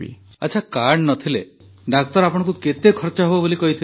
ଆଚ୍ଛା କାର୍ଡ଼ ନ ଥିଲେ ଡାକ୍ତର ଆପଣଙ୍କୁ କେତେ ଖର୍ଚ ହେବ ବୋଲି କହିଥିଲେ